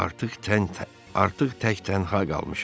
Artıq tək, artıq tək tənha qalmışam.